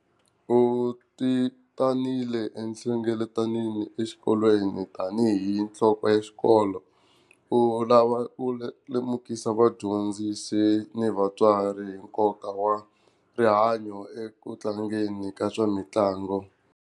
U ti tanile ehlengeletanini exikolweni tanihi nhloko ya xikolo u lava ku lemukisa vadyondzisi ni vatswari hi nkoka wa rihanyo eku tlangeni ka swa mitlangu.